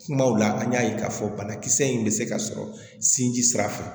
Kumaw la an y'a ye k'a fɔ banakisɛ in bɛ se ka sɔrɔ sinji sira fɛ